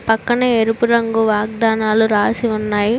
పక్కనే ఎరుపు రంగు వాగ్దానాలు రాసి ఉన్నాయి.